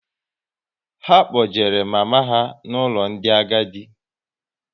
Ha kpojere mama ha n'ụlọ ndị agadi